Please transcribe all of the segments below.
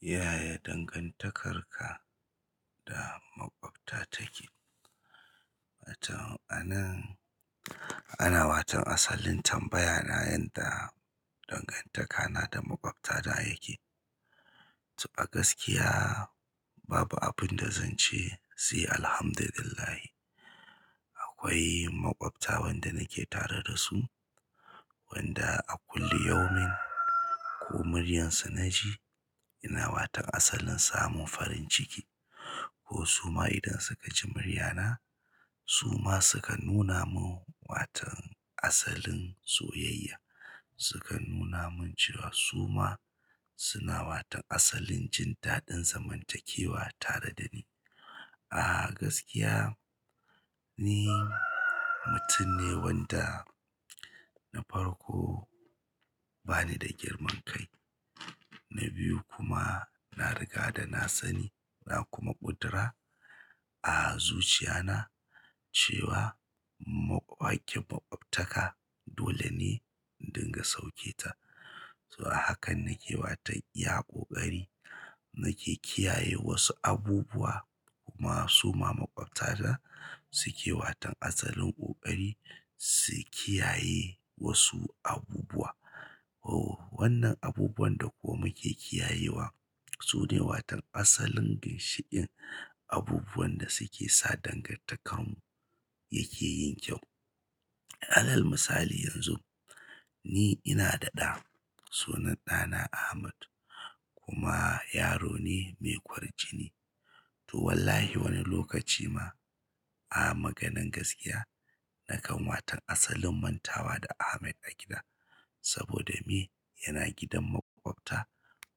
Yaya dangantakarka da maƙwabta take? To a nan ana watan asalin tambaya na yanda dangantaka na da maƙwabta ta yake. To a gaskiya babu abin da zan ce sai Alhamdulillahi. Akwai maƙwabta wanda nake tare da su wanda a kullu yaumin ko muryarsu naji ina wato asalin samun farin ciki ko su ma idan suka ji muryar na su ma suka nuna mun watan asalin soyayya. Suka nuna mun cewa su ma suna watan asalin jin daɗin zamantakewa tare da ni. A gaskiya ni mutum ne wanda na farko bani da girman kai. Na biyu kuma na riga da na sani na kuma ƙudura a zuciya na cewa maƙ hacking maƙwabtaka dole ne in dinga sauke ta. To a hakan nake watan iya ƙoƙari nake kiyaye wasu abubuwa kuma su ma maƙwabta ta suke watan asalin ƙoƙari su kiyaye wasu abubuwa. Oh wannan abubuwan da kuma ke kiyayewa su ne watan asalin ginshiƙin abubuwan da suke sa dangantakarmu yake yin kyau. Alal misali yanzu ni ina da ɗa sunan ɗa na Ahmad kuma yaro ne mai ƙwarjini to wallahi wani lokaci ma a maganan gaskiya nakan watan asalin mantawa da Ahmad a gida saboda me yana gidan maƙwabta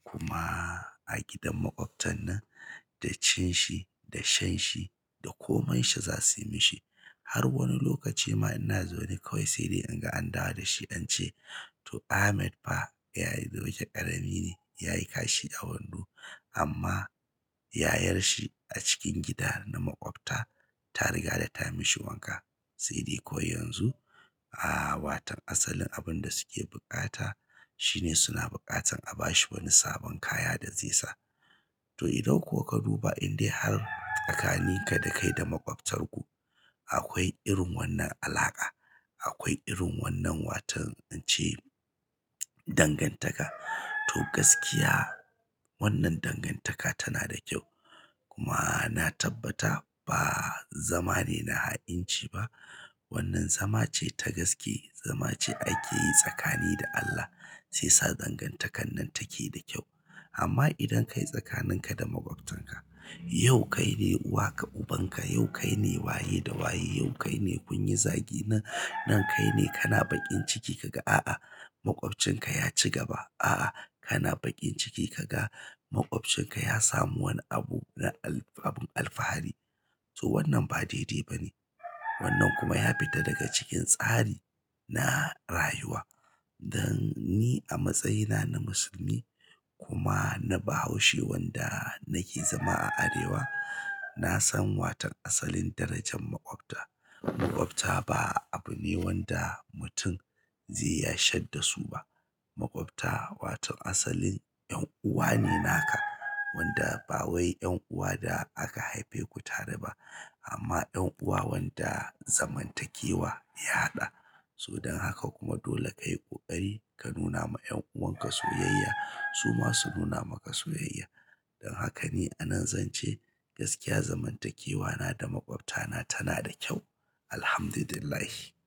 kuma a gidan maƙwabtan nan da cin shi, da shan shi da ko man sha za su yi mishi. Har wani lokaci ma ina zaune kawai sai dai in ga an dawo da shi ance to Ahmad fa yayi wajen ƙarami ne yayi kashi a wando amma yayar shi a cikin gida na maƙwabta ta riga da ta yi mishi wanka. Sai dai ko yanzu a watan asalin abun da suke buƙata shine suna buƙatan a bashi wani sabon kaya da zai sa. To idan ko ka duba in dai har tsakanin ka da kai da makwabtar ku akwai irin wannan alaƙa, akwai irin wannan watan ince dangantaka to gaskiya wannan dangantaka tana da kyau. Kuma na tabbata ba zama ne na ha'inci ba wannan zama ce ta gaske, zama ce ake yi tsakani da Allah sai sa dangantakar nan take da kyau. Amma idan kai tsakanin ka da maƙwabtanka. Yau kaine uwaka ubanka, yau kaine waye da waye, yau kaine kunyi zagi nan, nan kaine kana baƙinci kaga a'a maƙwabcinka yaci gaba, a'a kana baƙin ciki kaga maƙwabcinka ya samu wani abu na al abun alfahari to wannan ba daidai ba ne wannan kuma ya fita daga cikin tsari na rayuwa. Dan ni a matsayina na musulmi kuma na bahaushe wanda nake zama a arewa na san watan asalin darajan maƙwabta. Maƙwabta ba abu ne wanda mutum zai ya shadda su ba. Maƙwabta watan asalin 'yan uwa ne naka wanda ba wai 'yan uwa da aka haife ku tare ba amma 'yan uwa wanda zaman takewa ya haɗa su. Don haka kuma dole kayi ƙoƙari ka nuna ma 'yan'uwan ka soyayya su ma su nuna maka soyayya. Don haka ni a nan zan ce gaskiya zamantakewa na da maƙwabta na tana da kyau Alhamdulillahi.